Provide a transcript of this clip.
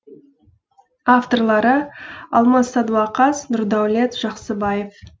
авторлары алмас садуақас нұрдәулет жақсыбаев